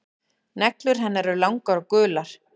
Neglur hennar eru langar og gular.